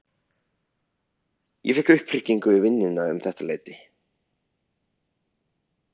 Ég fékk upphringingu í vinnuna um þetta leyti.